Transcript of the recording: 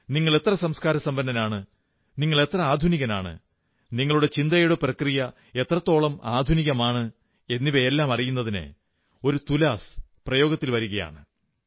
നിങ്ങൾ എത്ര സംസ്കാരസമ്പന്നനാണ് എത്ര ആധുനികനാണ് നിങ്ങളുടെ ചിന്താപ്രക്രിയ എത്രത്തോളം ആധുനികമാണ് എന്നിവയെല്ലാം അറിയുന്നതിന് ഒരു തുലാസ് പ്രയോഗത്തിൽ വരുകയാണ്